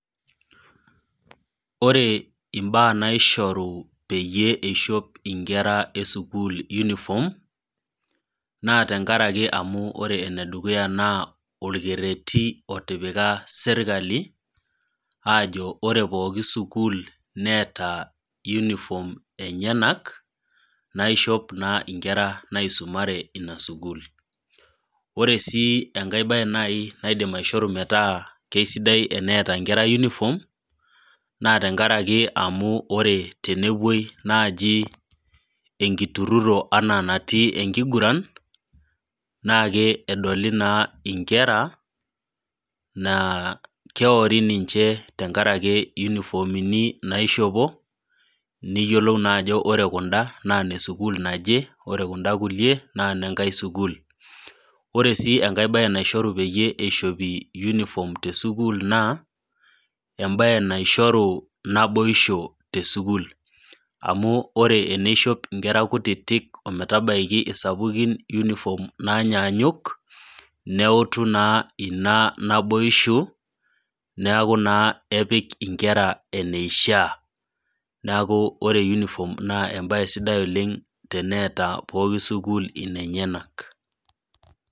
Ore imbaa naishoru peyie eishop inkera e sukuul uniform, naa tenkaraki enedukuya naa tenkaraki olkereti otipika serkali ajo ore pooki sukuul neeta uniform enyena naishop naa inkera naisumare Ina sukuul. Ore sii enkai baye naaji naidim aishoru metaa keaisidai metaa neata inkera uniform , naa tenkaraki ore tenewuoi naaji enkitururo anaa naaji enatii enkiguran naake edoli naa inkera naa keori ninche enkaraki iyunifomi naishopo, niyiolou naa ajo ore kunda, naa ine sukuul naje naa ore kunda kulie naa inenkai sukuul, Ore sii enkai baye naishoru peyie eishopi yunifom te sukuul naa embaye naishoru naboisho te sukuul amu ore teneishop inkera kutiti ometabaiki isapukin uniform nainyaanyuk neutu naa Ina naboisho neaku naa epik inkera eneishaa, neaku ore yunifom naa embae sidai oleng' teneatai pooki sukuul inenyenak.